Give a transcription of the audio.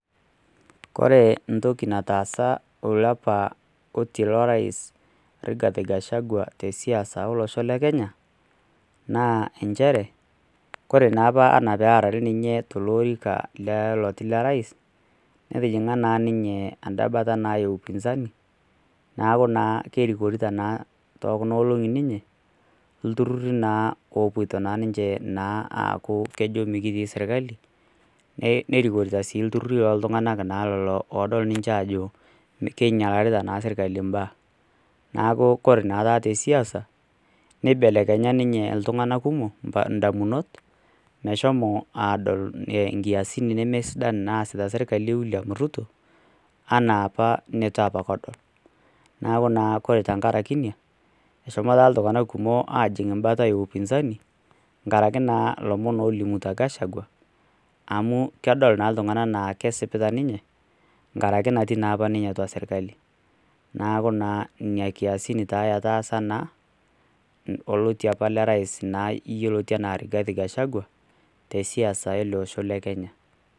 Kore entoki nataasa oliapa oti lorais Rigathi Gachagua tesiasa olosho le kenya naa inchere, kore naa apa anaa pearari ninye telo ilorika le oti lorais netijing'a naa ninye anda bata naa e upinzani, naaku naa kerikorita naa too kuna olong'i ninye ilturruri naa opoto ninche naa aaku kejo mikitii sirkali, nerikorita sii ilturruri looltunganak lelo naa oodol ninche aajo keinyalakita naa sirkali imbaa. Naaku kore naa taata tesiasa neibelekenya ninye iltungana kumok indamunot meshomo aadol inkiasin nemesidan naasita sirkali e wiliam Ruto anaapa neitu apake edol. Naaku naa kore tengaraki einia eshomo taata iltunganak kumok aajing' mbata e upinzani ngaraki naa lomon oolimuta Gachagua amu kedol naa iltungana anaa kesipita ninye ngaraki natii naa apa ninye atua sirkali. Naaku naa inia kiasin taa etaasa naa olotii liapa lerais naa yeloti anaa Rigathi Gachagua tesiasa naa ale osho le Kenya.